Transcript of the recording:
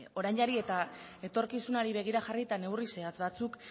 orainari eta etorkizunari begira jarri eta neurri zehatz batzuk